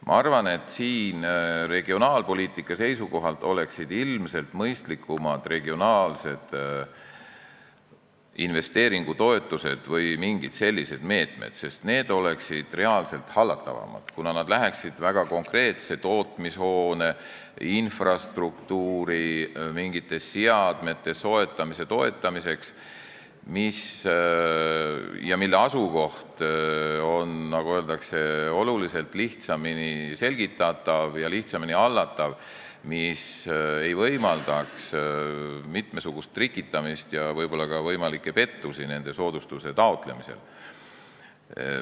Ma arvan, et regionaalpoliitika seisukohalt oleksid ilmselt mõistlikumad regionaalsed investeeringutoetused või mingid sellised meetmed, sest need oleksid hallatavamad, kuna nad läheksid konkreetse tootmishoone või infrastruktuuri rajamise või mingite seadmete soetamise toetamiseks, mille asukoht on, nagu öeldakse, oluliselt lihtsamini selgitatav, see oleks kergemini hallatav ega võimaldaks mitmesugust trikitamist ja võib-olla ka võimalikke pettusi nende soodustuste taotlemisel.